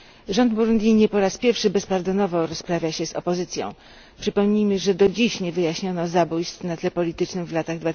Rząd Burundi nie po raz pierwszy bezpardonowo rozprawia się z opozycją. Przypomnijmy, że do dziś nie wyjaśniono zabójstw na tle politycznym w latach